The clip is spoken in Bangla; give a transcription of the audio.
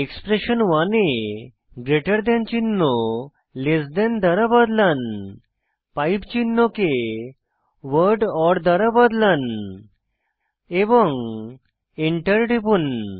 এক্সপ্রেশন 1 এ গ্রেটার দেন চিহ্ন লেস দেন দ্বারা বদলান এবং পাইপ চিহ্ন কে ওয়ার্ড ওর দ্বারা বদলান এবং Enter টিপুন